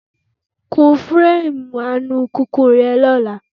Kún fireemu alùpùpù re lọ́la.